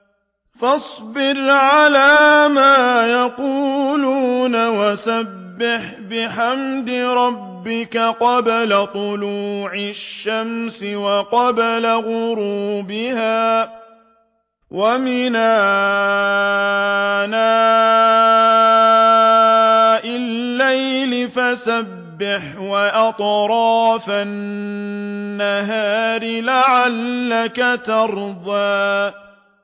فَاصْبِرْ عَلَىٰ مَا يَقُولُونَ وَسَبِّحْ بِحَمْدِ رَبِّكَ قَبْلَ طُلُوعِ الشَّمْسِ وَقَبْلَ غُرُوبِهَا ۖ وَمِنْ آنَاءِ اللَّيْلِ فَسَبِّحْ وَأَطْرَافَ النَّهَارِ لَعَلَّكَ تَرْضَىٰ